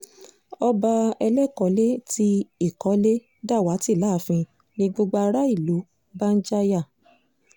ọba elékọ́lẹ́ ti ìkọ́lé dàwátì láàfin ni gbogbo ará ìlú bá ń jáyà